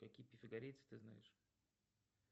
какие пифагорицы ты знаешь